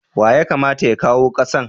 Wa ya kamata ya kawo kasan?